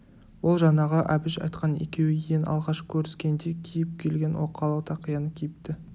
ол жаңағы әбіш айтқан екеуі ең алғаш көріскенде киіп келген оқалы тақияны киіпті